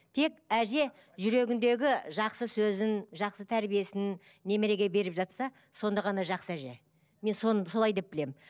тек әже жүрегіндегі жақсы сөзін жақсы тәрбиесін немереге беріп жатса сонда ғана жақсы әже мен солай деп білемін